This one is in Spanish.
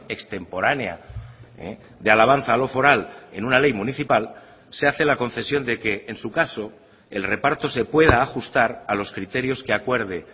extemporánea de alabanza a lo foral en una ley municipal se hace la concesión de que en su caso el reparto se pueda ajustar a los criterios que acuerde